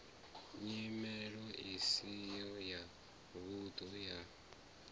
nyimelo isi ya vhunḓu ya